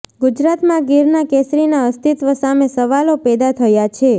ગુજરાતમાં ગીરના કેસરીના અસ્તિત્વ સામે સવાલો પેદા થયા છે